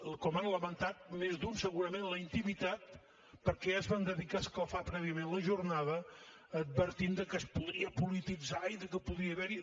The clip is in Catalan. com ha lamentat més d’un segurament en la intimitat perquè ja es van dedicar a escalfar prèviament la jornada advertint que es podria polititzar i que podria haver hi